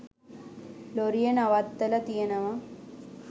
ලොරිය නවත්තල තියනව.